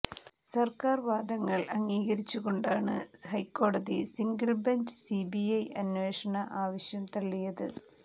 സർക്കാർ വാദങ്ങൾ അംഗീകരിച്ചുകൊണ്ടാണ് ഹൈക്കോടതി സിംഗിൾ ബഞ്ച് സിബിഐ അന്വേഷണ ആവശ്യം തള്ളിയത്